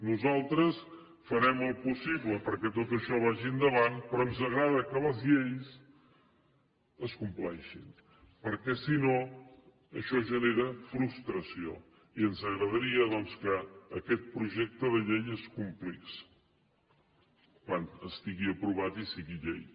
nosaltres farem el possible perquè tot això vagi endavant però ens agrada que les lleis es compleixin perquè si no això genera frustració i ens agradaria doncs que aquest projecte de llei es complís quan estigui aprovat i sigui llei